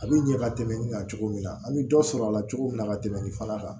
A bi ɲɛ ka tɛmɛ nin kan cogo min na an bɛ dɔ sɔrɔ a la cogo min na ka tɛmɛ nin fana kan